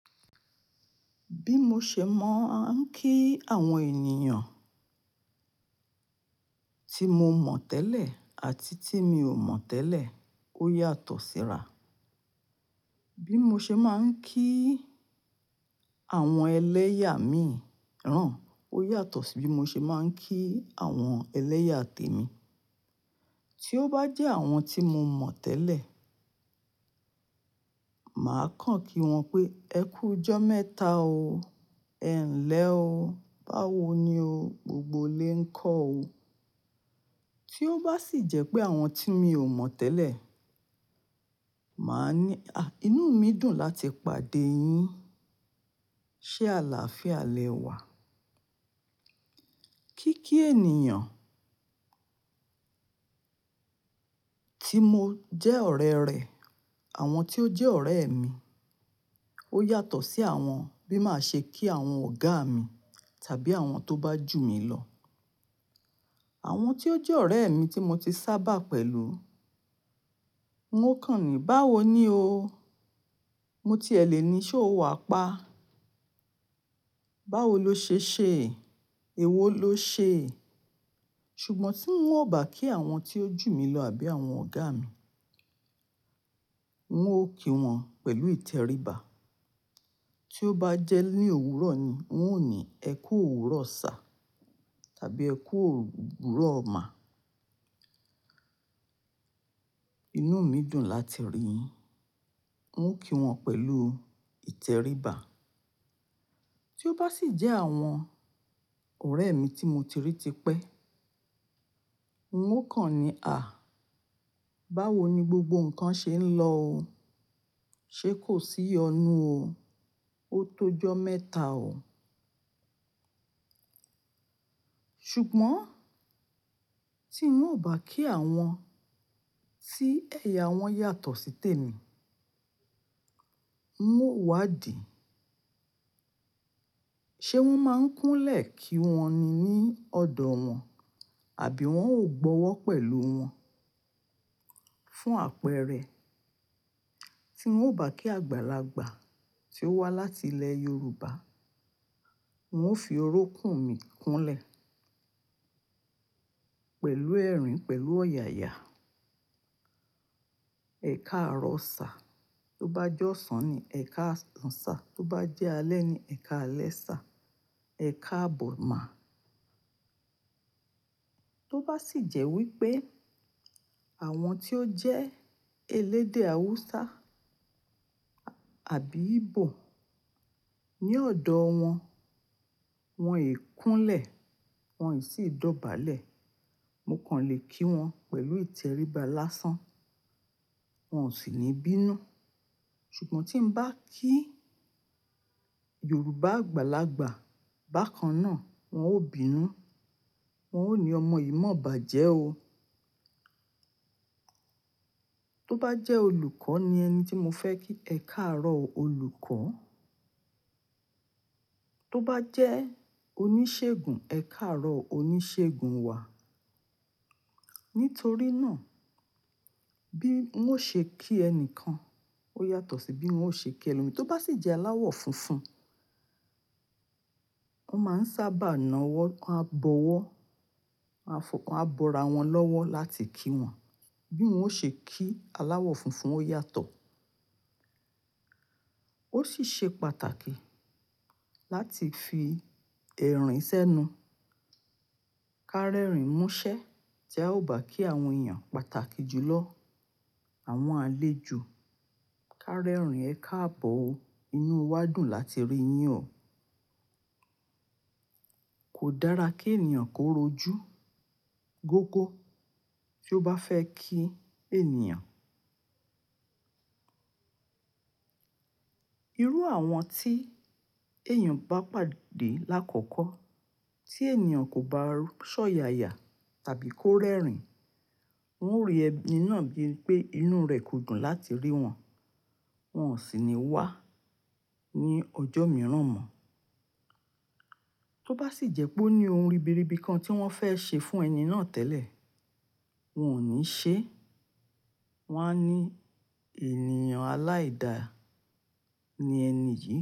Bí mo ṣe máa ń kí àwọn ènìyàn tí mo mọ̀ tẹ́lẹ̀ àti tí mi ò mọ̀ tẹ́lẹ̀ ó yàtọ̀ síra. Bí mo ṣe máa ń kí àwọn ẹlẹ́yà mi rán, ó yàtọ̀ sí bí mo ṣe máa ń kí àwọn ẹlẹ́yà tèmi. Tí ó bá jẹ́ àwọn tí mo mọ̀ tẹ́lẹ̀, màá kàn kí wọn pé "ẹ kú jọ́ mẹ́ta o, ẹ ń lẹ o, báwo ni o, gbogbo lè ń kọ́ o". Tí ó bá sì jẹ́ pé àwọn tí mi ò mọ̀ tẹ́lẹ̀, màá ní, "à, inú mi dùn láti pàdé yín, ṣé àlàáfíà lẹ wà?" Kí kí ènìyàn tí mo jẹ́ ọ̀rẹ́ rẹ̀, àwọn tí ó jẹ́ ọ̀rẹ́ mi, ó yàtọ̀ sí àwọn bí màá ṣe kí àwọn ọ̀gá mi tàbí àwọn tó bá jù mí lọ. Àwọn tí ó jẹ́ ọ̀rẹ́ mi tí mo ti sábà pẹ̀lú, wọn kàn ní, "báwo ni o? Mo ti ẹlẹ̀ ni, ṣé o wà pa? Báwo lo ṣe ṣe? Ẹ̀wo lo ṣe?" Ṣùgbọ́n tí n ò bá kí àwọn tí ó jù mí lọ àbí àwọn ọ̀gá mi, wọn ó kí wọn pẹ̀lú ìtẹríba. Tí ó bá jẹ́ ní òwúrọ̀ ni, wọn ó ní, "ẹ kú òwúrọ̀ sá" tàbí "ẹ kú òwúrọ̀ má". "Inú mi dùn láti rí yín", wọn ó kí wọn pẹ̀lú ìtẹríba. Tí ó bá sì jẹ́ àwọn ọ̀rẹ́ mi tí mo ti rí tipẹ́, wọn kàn ní, "à, báwo ni gbogbo nǹkan ṣe ń lọ o? Ṣé kò sí iyọnù o? O tó jọ́ mẹ́ta o". Ṣùgbọ́n tí n ò bá kí àwọn tí ẹ̀yà wọn yàtọ̀ sí tèmi, wọn ó wádìí. Ṣé wọ́n máa ń kúnlẹ̀ kí wọn ni ní ọ̀dọ̀ wọn, àbí wọn ò gbọ́wọ́ pẹ̀lú wọn. Fún àpẹẹrẹ, tí n ò bá kí àgbàlagbà tí ó wá láti ilẹ̀ Yorùbá, wọn ó fi orukùn mí kunlẹ̀ pẹ̀lú ẹ̀rín, pẹ̀lú ọ̀yàyà. Ẹ̀kaàrọ̀ sá, tó bá jọ́sàn ni ẹ̀kaàsàn sá, tó bá jẹ́ alẹ́ ni ẹ̀kaàlẹ́ sá, ẹ̀kaàbọ̀ má. Tó bá sì jẹ́ wípé àwọn tí ó jẹ́ elédè Hausa àbí Igbo, ní ọ̀dọ̀ wọn, wọn è kúnlẹ̀, wọn ì sì dọ̀bálẹ̀. Mo kàn lè kí wọn pẹ̀lú ìtẹríba lásán, wọn ó sì ní bínú. Ṣùgbọ́n tí n bá kí Yorùbá àgbàlagbà bákan náà, wọn ó bínú, wọn ó ní "ọmọ yìí mọ̀ ọba jẹ o". Tó bá jẹ́ olùkọ́ ni ẹni tí mo fẹ́ kí, ẹ káàárọ̀ olùkọ́. Tó bá jẹ́ oníṣègùn, ẹ káàárọ̀ oníṣègùn wà. Nítorí náà, bí wọn ṣe kí ẹni kan, ó yàtọ̀ sí bí wọn ó ṣe kí e. Tó bá sì jẹ́ aláwọ̀ funfun, wọn máa ń sábà nà wọ́, wọn á bọwọ́, wọn á fọ, wọn á bọra wọn lọ́wọ́ láti kí wọn. Bí wọn ó ṣe kí aláwọ̀ funfun ó yàtọ̀. Ó sì ṣe pàtàkì láti fi ẹ̀rín sẹ́nu. Ká rẹ́rìn mú ṣẹ́ tí a ò bá kí àwọn ènìyàn pàtàkì jù lọ, àwọn àlejò. Ká rẹ́rìn, ẹ káàbọ̀ o. Inú wa dùn láti rí yín o. Kò dára kí ènìyàn kó rojú gógó tí ó bá fẹ́ kí ènìyàn. Irú àwọn tí èèyàn bá pàdé lákọ̀ọ̀kọ́, tí ènìyàn kò bá sọ̀yàyà tàbí kó rẹ́rìn, wọn o rí ẹni náà bíi pé inú rẹ̀ kò dùn láti rí wọn, wọn ó sì ní wá ní ọjọ́ mìíràn mọ́. Tó bá sì jẹ́ pé ó ní ohun ribiribi kan tí wọn fẹ́ ṣe fún ẹni náà tẹ́lẹ̀, wọn ò ní ṣe é. Wọn á ní ènìyàn aláìda ni ẹni yìí.